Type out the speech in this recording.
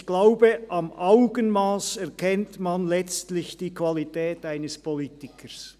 «Ich glaube, am Augenmass erkennt man letztlich die Qualität eines Politikers.